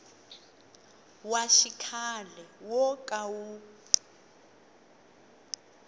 wa xikhale wo ka wu